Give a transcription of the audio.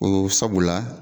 O sabula.